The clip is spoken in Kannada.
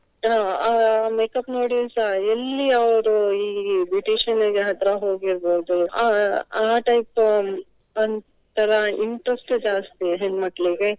ಅಹ್ ಅಹ್ makeup ನೋಡಿಸ ಎಲ್ಲಿ ಅವ್ರು ಈ beautician ನ್ನಿಗೆ ಹತ್ರ ಹೋಗಿರ್ಬಹುದು. ಅಹ್ ಅಹ್ type ಒಂಥರ interest task ಹೆಣ್ಮಕ್ಳಿಗೆ.